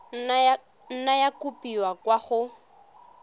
nna ya kopiwa kwa go